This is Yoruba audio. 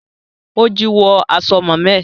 Ó jí wàsó màmá ẹ